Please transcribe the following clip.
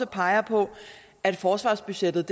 peger på at forsvarsbudgettet